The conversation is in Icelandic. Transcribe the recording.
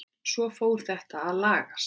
Svo fór þetta að lagast.